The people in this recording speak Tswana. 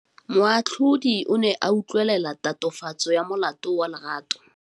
Moatlhodi o ne a utlwelela tatofatsô ya molato wa Lerato.